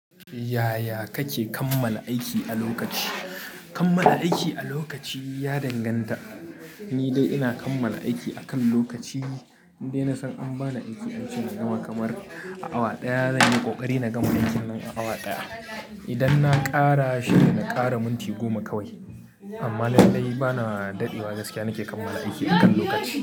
Yaya kake kammala aiki a lokaci? Kammala aiki a lokaci ya danganta, ni dai ina kammala aiki akan lokaci indai nasan an bani aiki ance na gama kamar a awa ɗaya, zanyi kokari na gama aikin nan a awa ɗaya. Idan na ƙara shi da na ƙara minti goma kawai. Amma nan dai bana daɗewa gaskiya nake kammala aiki akan lokaci.